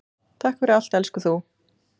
Takk fyrir allt elsku þú.